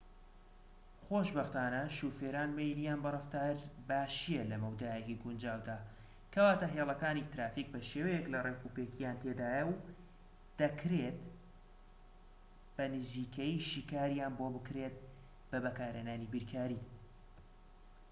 خۆشبەختانە شۆفێران مەیلیان بە ڕەفتار باشیە لە مەودایەکی گونجاودا کەواتە هێڵەکانی ترافیك شێوەیەك لە ڕێکوپێکیان تێدایە و بە دەکرێت بە نزیکەیی شیکارییان بۆ بکرێت بە بەکارهێنانی بیرکاری